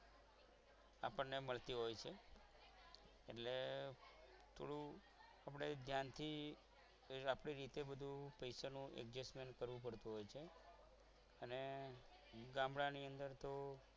આપણને મળતી હોય છે એટલે થોડું ધ્યાનથી આપણી રીતે થોડું પૈસાનું adjustment કરવું પડતું હોય છે અને ગામડાની અંદર તો